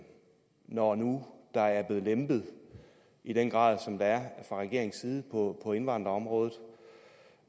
når nu der er blevet lempet i den grad som der er fra regeringens side på indvandrerområdet